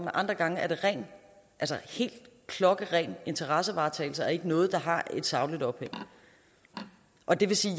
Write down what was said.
andre gange er det helt klokkeren interessevaretagelse og ikke noget der har et sagligt ophæng og det vil sige